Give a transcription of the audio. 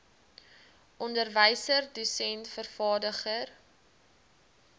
onderwyser dosent vervaardiger